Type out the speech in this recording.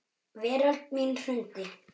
Veröld mín hrundi.